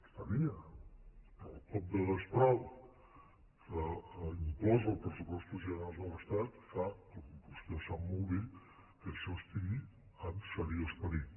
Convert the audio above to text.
els tenia però el cop de destral que imposen els pressupostos generals de l’estat fa com vostè sap molt bé que això estigui en seriós perill